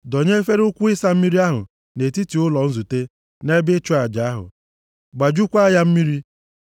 Dọnye efere ukwu ịsa mmiri ahụ nʼetiti ụlọ nzute na ebe ịchụ aja ahụ. Gbajukwaa ya mmiri.